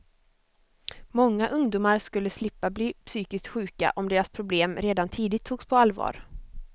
Många ungdomar skulle slippa bli psykiskt sjuka om deras problem redan tidigt togs på allvar.